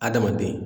Adamaden